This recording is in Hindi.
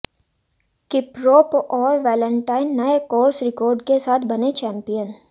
किपरोप और वेलेन्टाइन नए कोर्स रिकार्ड के साथ बने चैम्पियन